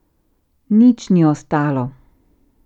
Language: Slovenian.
Nič ni ostalo.